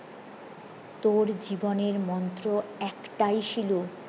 তোর জীবনের মন্ত্র একটাই শিলু